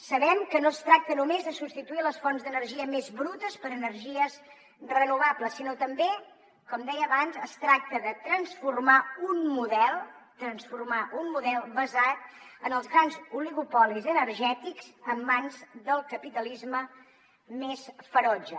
sabem que no es tracta només de substituir les fonts d’energia més brutes per energies renovables sinó que també com deia abans es tracta de transformar un model transformar un model basat en els grans oligopolis energètics en mans del capitalisme més ferotge